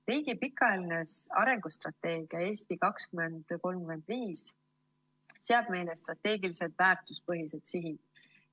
Riigi pikaajaline arengustrateegia "Eesti 2035" seab meile strateegilised väärtuspõhised sihid.